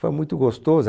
Foi muito gostoso. A